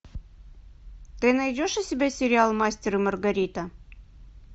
ты найдешь у себя сериал мастер и маргарита